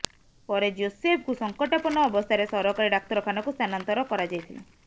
ପରେ ଜୋସେଫଙ୍କୁ ସଙ୍କଟାପନ୍ନ ଅବସ୍ଥାରେ ସରକାରୀ ଡାକ୍ତରଖାନାକୁ ସ୍ଥାନାନ୍ତର କରାଯାଇଥିଲା